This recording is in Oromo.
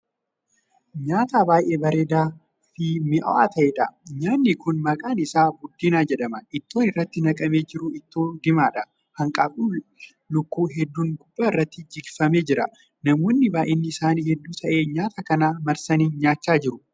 Nyaata baay'ee bareedaa Fi mi'aawaa ta'eedha. nyaanni Kuni maqaan isaa buddeena jedhama. ittoon irratti naqamee jiru ittoo diimaadha. hanqaaquun lukkuu hedduun gubbaa irratti jigfamee jira, namoonni baay'inni isaanii hedduu ta'e nyaata kana marsanii nyaachaa jiru.